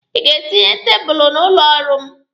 Ị ga-etinye tebụlụ n'ụlọ ọrụ m?